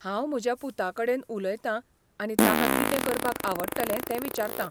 हांव म्हज्या पुताकडेन उलयतां आनी ताका कितें करपाक आवडटलें तें विचारतां .